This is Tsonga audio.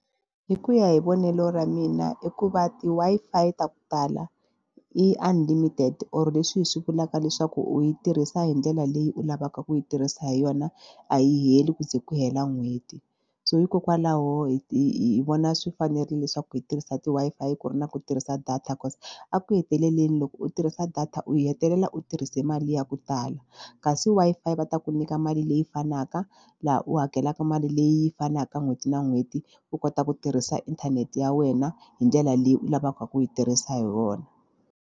Hi ku ya hi vonelo ra mina i ku va ti-Wi-Fi ta ku tala i unlimited or leswi hi swi vulaka leswaku u yi tirhisa hi ndlela leyi u lavaka ku yi tirhisa hi yona a yi heli ku ze ku hela n'hweti so hikokwalaho hi hi vona swi fanerile leswaku hi tirhisa ti-Wi-Fi ku ri na ku tirhisa data cause eku heteleleni loko u tirhisa data u hetelela u tirhise mali ya ku tala kasi Wi-Fi va ta ku nyika mali leyi fanaka laha u hakelaka mali leyi fanaka n'hweti na n'hweti u kota ku tirhisa inthanete ya wena hi ndlela leyi u lavaka ku yi tirhisa hi wona.